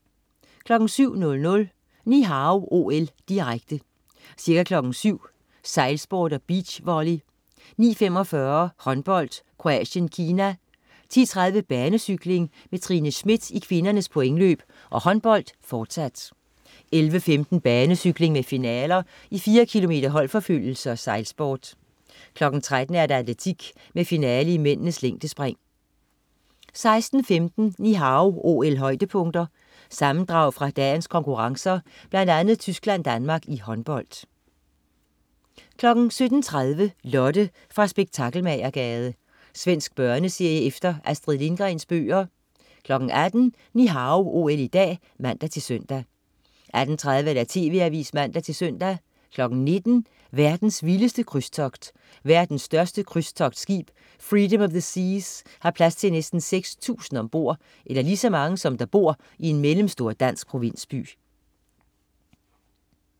07.00 Ni Hao OL, direkte. Ca. kl. 7.00: Sejlsport og beachvolley. 9.45: Håndbold, Kroatien-Kina. 10.30: Banecykling med Trine Schmidt i kvindernes pointløb og håndbold, fortsat. 11.15: Banecykling med finaler i 4 km holdforfølgelse og sejlsport. 13.00: Atletik med finale i mændenes længdespring 16.15 Ni Hao OL-højdepunkter. Sammendrag fra dagens konkurrencer, blandt andet Tyskland-Danmark i håndbold 17.30 Lotte fra Spektakelmagergade. Svensk børneserie efter Astrid Lindgrens bøger 18.00 Ni Hao OL i dag (man-søn) 18.30 TV Avisen (man-søn) 19.00 Verdens vildeste krydstogt. Verdens største krydstogtskib, Freedom of the Seas, har plads til næsten 6000 ombord, eller lige så mange, som der bor i en mellemstor dansk provinsby